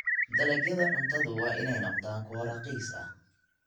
Dalagyada cuntadu waa inay noqdaan kuwo raqiis ah.